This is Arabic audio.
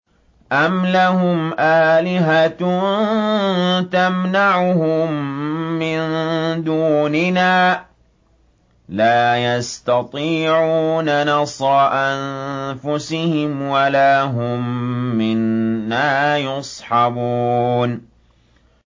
أَمْ لَهُمْ آلِهَةٌ تَمْنَعُهُم مِّن دُونِنَا ۚ لَا يَسْتَطِيعُونَ نَصْرَ أَنفُسِهِمْ وَلَا هُم مِّنَّا يُصْحَبُونَ